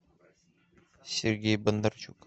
сергей бондарчук